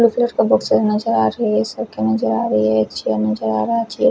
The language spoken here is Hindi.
बड़े साइज का बॉक्स नजर आ रही है एक चेयर नजर आ रहा एक चेयर --